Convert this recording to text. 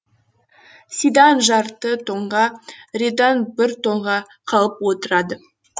сидан жарты тонға редан бір тонға қалып отырады